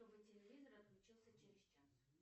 чтобы телевизор отключился через час